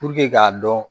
k'a dɔn